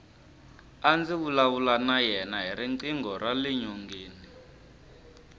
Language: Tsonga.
a ndzi vulavula na yena hi riqingho rale nyongeni